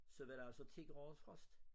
Så var det altså 10 graders frost